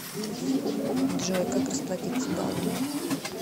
джой как расплатится балами